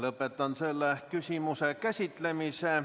Lõpetan selle küsimuse käsitlemise.